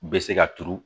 U bɛ se ka turu